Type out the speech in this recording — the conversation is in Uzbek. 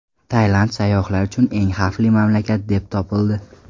Tailand sayyohlar uchun eng xavfli mamlakat deb topildi.